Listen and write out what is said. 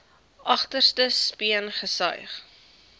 agterste speen gesuig